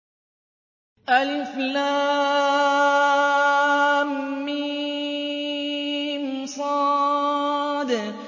المص